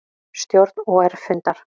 Stjórn OR fundar